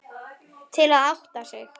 Til að átta sig.